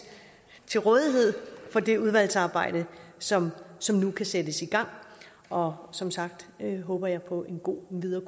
til rådighed for det udvalgsarbejde som som nu kan sættes i gang og som sagt håber jeg på en god videre